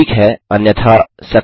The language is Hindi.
ठीक है अन्यथा Success